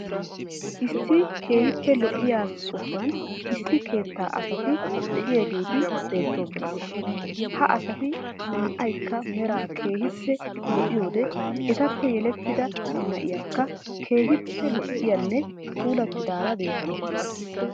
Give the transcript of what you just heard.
Issi keehippe lo'iya sohuwan issi keettaa asati de'iyageeti beettoosona. Ha asati naa''aykka meraa keehippe lo'iyode etappe yelettida nayiyakka keehippe lo"iyanne puulattidaara beetawusu.